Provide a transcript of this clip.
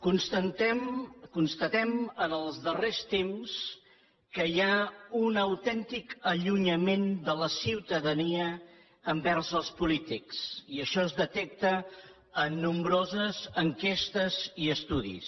constatem en els darrers temps que hi ha un autèntic allunyament de la ciutadania envers els polítics i això es detecta en nombroses enquestes i estudis